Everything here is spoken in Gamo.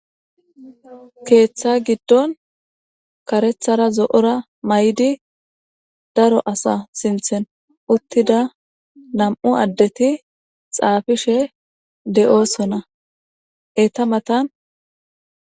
Keeththa giddon karethara zo7ora may7di daro asa sinthen uttida nam7u addeti xaafishe de7oosona eeta matan